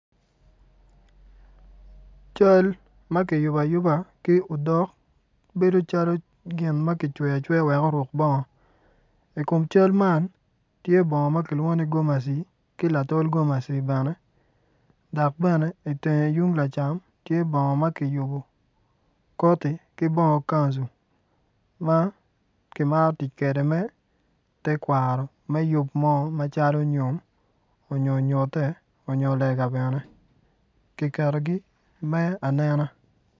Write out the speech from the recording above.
Cal ma kiyubo ayuba ki odok bedo calo gin ma kicweyo acweya wek oruk bongo ikom cal man tye bongo ma kilwongo ni gomaci ki latol komaci bene dok bene iteng tung lacam tye bongo ma kiyubo koti ki bongo kanju ma kimaro tic kwede me tekwaro me yub mo macalo nyom onyo nyute onyo lega bene kiketogi me anena